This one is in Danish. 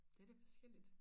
Ja det forskelligt